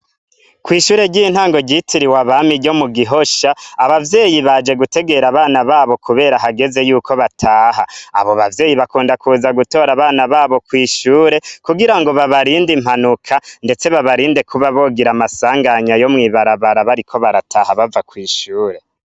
Kw'ishuri ry'intango ryitiriwe abami ryo mu Gihosha, abavyeyi baje gutegera abana babo kubera hageze yuko bataha. Abo bavyeyi bakunda kuza gutora abana babo kw'ishure, kugirango babarinde impanuka ndetse babarinde kuba bogira amasanganya yo mw'ibarabara bariko barataha bava kw'ishure.